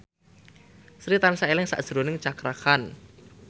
Sri tansah eling sakjroning Cakra Khan